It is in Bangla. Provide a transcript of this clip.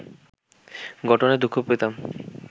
ঘটনায় দুঃখ পেতাম